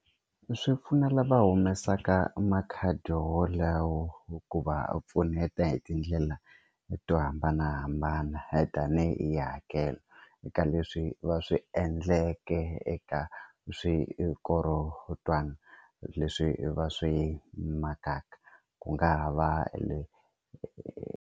Swipfuno lava humesaka makhadi wolawo hi ku va pfuneta hi tindlela to hambanahambana tanihi hakelo eka leswi va swi endleke eka xikorotwana leswi va swi makaka ku nga ha va le.